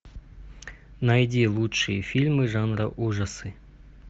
найди лучшие фильмы жанра ужасы